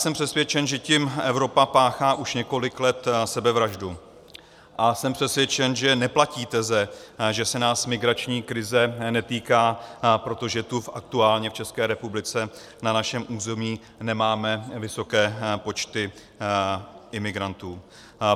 Jsem přesvědčen, že tím Evropa páchá už několik let sebevraždu, a jsem přesvědčen, že neplatí teze, že se nás migrační krize netýká, protože tu aktuálně v České republice na našem území nemáme vysoké počty imigrantů.